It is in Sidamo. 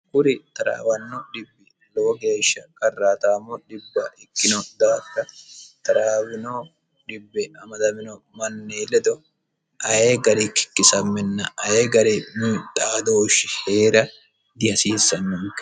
kuri taraawanno dhibbi lowo geeshsha qarratamo dhibba ikkino daafira taraawano ammadamino manni ledo ayi garinni kikkisamminna ayi garinni xaadooshshi heera dihasiissannoonke